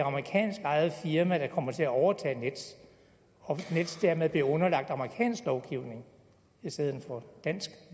amerikanskejet firma der kommer til at overtage nets og at nets dermed bliver underlagt amerikansk lovgivning i stedet for dansk